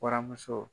Waramuso